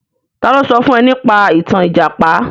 Ta ló sọ fún ẹ nípa ìtàn Ìjàpá?